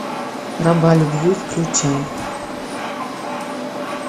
раба любви включай